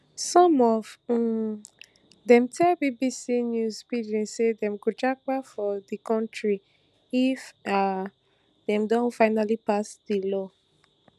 some of um dem tell bbc news pidgin say dem go japa for di kontri if um dem don finally pass dis law